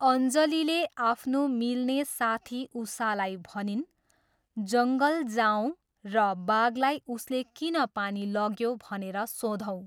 अञ्जलीले आफ्नो मिल्ने साथी उषालाई भनिन्ः जङ्गल जाऔँ र बाघलाई उसले किन पानी लग्यो भनेर सोधौँ।